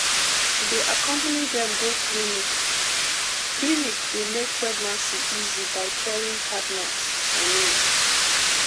to dey accompany dem go clinic clinic dey make pregnancy easy by caring partners i mean